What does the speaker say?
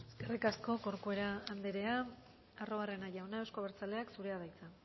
eskerrik asko corcuera andrea arruabarrena jauna euzko abertzaleak zurea da hitza